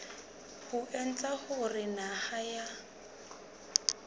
ho etsa hore naha ya